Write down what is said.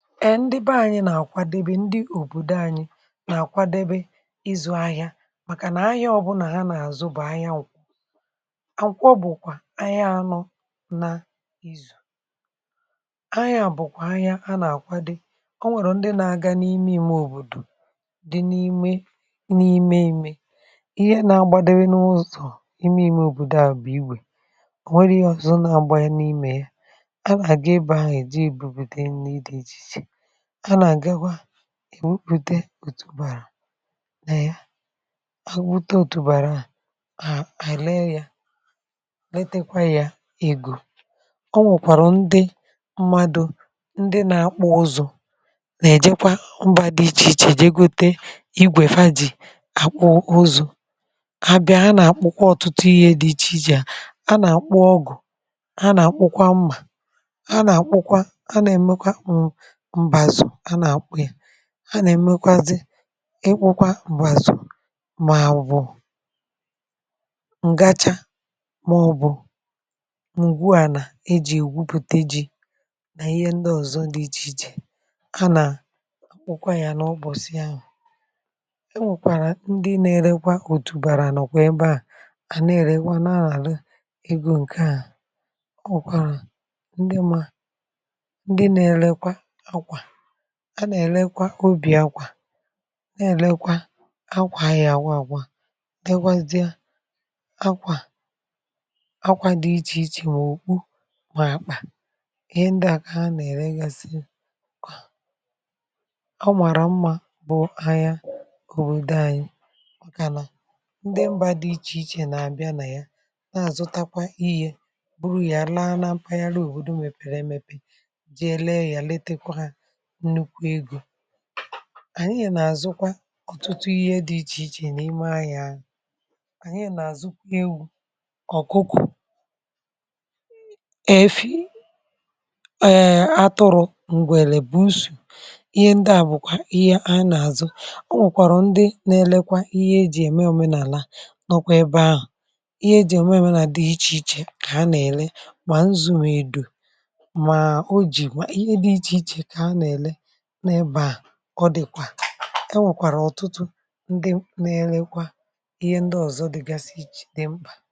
èndị bẹ anyị, nà-àkwadebe, ndị òbòdo anyị nà-àkwadebe ịzụ̇ ahịa, màkà nà ahịa ọbụ̇nà ha nà-àzụ bụ̀ ahịa nwụkwọ akwụkwọ, bụ̀kwà ahịa anụ̇. nȧ-izù ahịa, bụ̀kwà ahịa ha nà-àkwadeb. ọ nwẹ̀rẹ̀ ndị nȧ-ȧgȧ n’ime imė òbòdò dị n’ime, n’ime imė ihe nȧ-agbȧdebe n’ụzọ̀ imė imė òbòdo. à bụ̀ igwè, ò nwere ya ọzọ nȧ-agba anyị n’imė ya, èwepụ̀te òtùbàrà n’ịa, àwụ̀ wụta òtùbàrà à, à, àlee ya, letekwa ya igù. ọ nwèkwàrọ̀ ndị mmadụ̇, ndị na-akpọ ọzọ nà-èjekwa ụbà dị ichè ichè, jegote igwè, fa jì àkpọ ụzụ, kà bịa. a nà-àkpọkwa ọ̀tụtụ ihe dị ichè ichè, a nà-àkpọ ọgụ̀, a nà-àkpụkwa mmà, a nà-àkpụkwa, a nà-èmekwa m̀, ha nà èmekwazi ịkpụkwa m̀gbàzù, mà ọ̀bụ̀ ǹgacha, màọbụ̇ m̀gwuànà e jì ègwupùte ji nà ihe ndị ọ̀zọ, di iji̇ ji̇ ha nà akwụkwa yȧ nà ọbọ̀sị ahụ̀. e nwèkwàrà ndi na-erekwa òtùbàrà, nọ̀kwa ebe à, à nà èrewa nà àla egȯ. ǹke a ọ wụ̀kwàrà ndi ṁ, a nà èlekwa obì akwà, a nà èlekwa akwà, anyị àwụ, àgwụ à, dịkwazịa akwà, akwà dị ichèichè, mà ọ̀kwụ, mà àkpà. ihe ndị à, kà a nà èregasị, kwà ọ màrà mmȧ, bụ̀ anya òbòdo anyị, màkà nà ndị mbȧ dị ichèichè nà àbịa nà ya, na àzụtakwa ihe, bụrụ̀ yà, laa na mpaghara òbòdò. mwepèrè emepe ji elee yà, letekwa hȧ, ànyị yà nà-àzụkwa ọtụtụ ihe dị ichè ichè n’ime ahị̇ȧ ahụ̀. um ànyị nà-àzụkwa egwu, ọ̀kụkụ̀, èfi, eee, atụrụ̇. m̀gbè lèbusù ihe ndị à, bụ̀kwà ihe a nà-àzụ. ọ nwèkwàrọ̀ ndị nȧ-elekwa ihe ejì ème òmenàlà, nọ̀kwa ebe ahụ̀. ihe ejì ème òmenàlà dị̀ ichè ichè, kà a nà-èle, mà nzụ, m edò, mà o jì ihe dị̇ ichè ichè, kà a nà-èle. ọ dị̀kwà, e nwèkwàrà ọ̀tụtụ ndị nȧ-elekwa ihe ndị ọ̀zọ, dị gasi ichè, nà mbà.